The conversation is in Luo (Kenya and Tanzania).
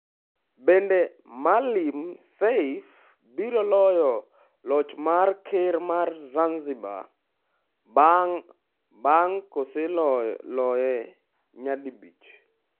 Bende Maalim Seif biro loyo loch mar ker mar Zanzibar bang' kose loye nyadi bich?